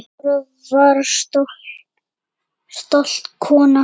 Dóra var afar stolt kona.